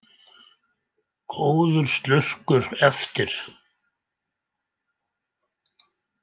Góður slurkur eftir.